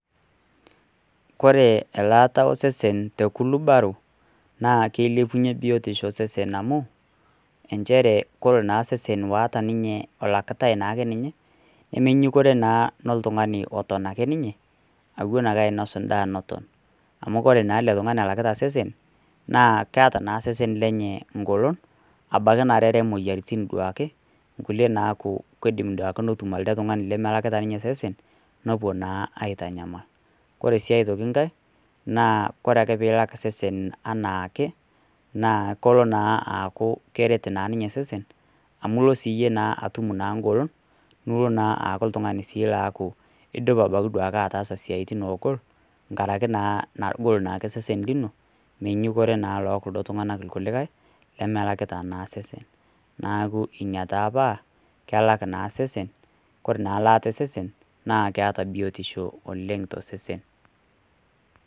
Kore elaata osesen te kulubaro naa keilepunye biotisho osesen amu inchere kore naa osesen oota niniye olakitae naake ninye nemenyukore naa noltungani oton ake ninye awen ake ainos indaa neton. Amu kore naa ale tungani olakita osesen naa keeta naa osesen lenye ingolon abaki narere imoyiaritin duake nkulie naaku keidim duake netu alde tungani lemelakita ninye osesen, nepuo naa aitanyamal. Kore sii aitoki inkae naa kore ake piilak osesen anaake naa kolo naa aaku keret naa ninye osesen amu ilo sii iyie naa atum naa ingolon, nilo naa aaku sii iltungani oaku idup duake ataasa siatin oogol ngaraki naa naa egol naake osesen lino, menyunyukore naa kuldo tunganak kulikae lemelakita naa sesen. Naaku inia taa paa kelak naa osesen, kore naa ilaata osesen naa keata biotisho oleng tosesen.